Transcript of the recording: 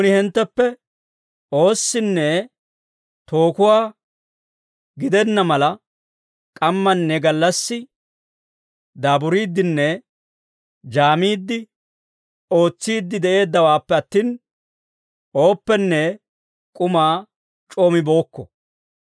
Nuuni hintteppe oossinne tookuwaa gidenna mala, k'ammanne gallassi daaburiiddenne jaamiidde ootsiide de'eeddawaappe attin, ooppenne k'umaa c'oo mibookko.